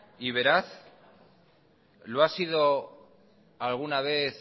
y veraz lo ha sido alguna vez